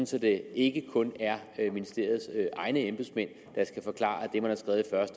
så det ikke kun er ministeriets egne embedsmænd der skal forklare